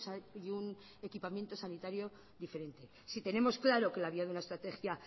y un equipamiento sanitario diferente si tenemos claro que la vía de una estrategia